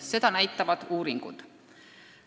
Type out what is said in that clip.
Seda näitavad uuringud.